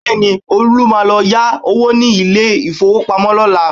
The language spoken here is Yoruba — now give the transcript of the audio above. Bẹ́ẹ̀ni, Olú máa lọ yá owó ní ilé-ìfowópamọ́ lọ́la